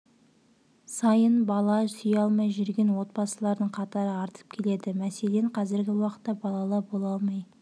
сайын бала сүйе алмай жүрген отбасылардың қатары артып келеді мәселен қазіргі уақытта балалы бола алмай